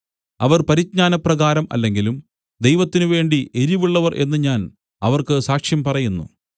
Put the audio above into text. അവർ പരിജ്ഞാനപ്രകാരം അല്ലെങ്കിലും ദൈവത്തിനുവേണ്ടി എരിവുള്ളവർ എന്നു ഞാൻ അവർക്ക് സാക്ഷ്യം പറയുന്നു